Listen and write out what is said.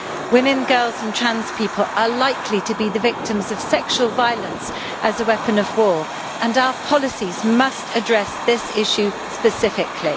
Women, girls and trans people are likely to be the victims of sexual violence as a weapon of war and our policies must address this issue specifically.